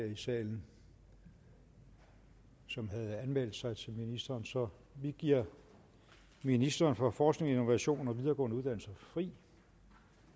i salen som havde anmeldt sig til ministeren så vi giver ministeren for forskning innovation og videregående uddannelser fri